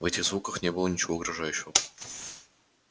в этих звуках не было ничего угрожающего